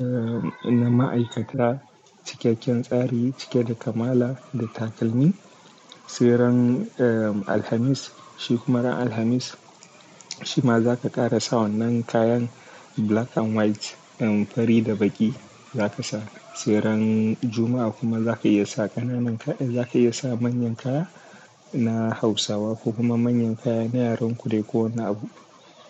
eh na ma'aikata, cikakken tsari cike da kamala da takalmi. Seran eh Alhamis, shikumaran Alhamis shi ma za ka ƙara sa wannan kayan black and white, eh fari da baƙi za ka sa. Seran Juma'a kuma za ka iya sa ƙananan ka, eh za ka iya sa manyan kaya na Hausawa ko kuma manyan kaya na yaren ku dai ko wani abu.